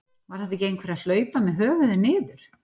Var þetta ekki einhver að hlaupa með höfuðið niður?